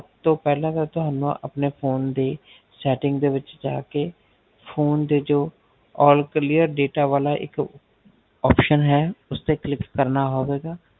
ਸਬ ਤੋਂ ਪਹਿਲਾ ਤੁਹਾਨੂੰ ਅਪਣੇ Phone ਦੀ Setting ਦੇ ਵਿੱਚ ਜਾ ਕੀ Phone ਦੇ ਜੋ All clear data ਵਾਲਾ ਇੱਕ option ਹੈ ਉਸ ਤੇ Click ਕਰਨਾ ਹੋਵੇਗਾ